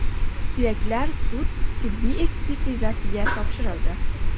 Suyaklar sud-tibbiyot ekspertizasiga topshirildi.